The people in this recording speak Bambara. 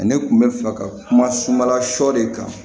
Ne kun bɛ fɛ ka kuma sumala sɔ de kan